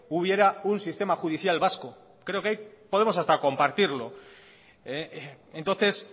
hubiera un sistema judicial vasco creo que ahí podemos hasta compartirlo entonces